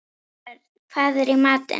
Þórörn, hvað er í matinn?